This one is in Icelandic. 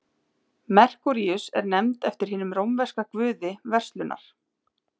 merkúríus er nefnd eftir hinum rómverska guði verslunar